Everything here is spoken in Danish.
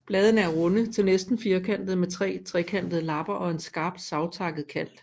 Bladene er runde til næsten firkantede med tre trekantede lapper og en skarpt savtakket rand